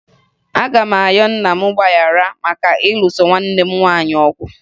Aga m ayọ nna m mgbaghara maka ịlụso nwanne m nwaanyị ọgụ